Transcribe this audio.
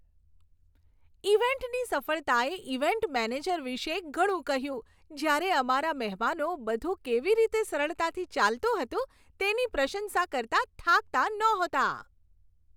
ઇવેન્ટની સફળતાએ event manager વિશે ઘણું કહ્યું જ્યારે અમારા મહેમાનો બધું કેવી રીતે સરળતાથી ચાલતું હતું તેની પ્રશંસા કરતાં થાકતાં નહોતાં.